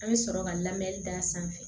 An bɛ sɔrɔ ka lamɛni da sanfɛ